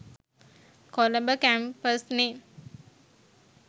Colombo කැම්පස්නෙ